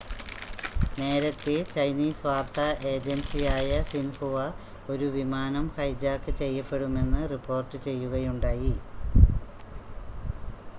നേരത്തെ ചൈനീസ് വാർത്താ ഏജൻസിയായ സിൻഹുവ ഒരു വിമാനം ഹൈജാക്ക് ചെയ്യപ്പെടുമെന്ന് റിപ്പോർട്ട് ചെയ്യുകയുണ്ടായി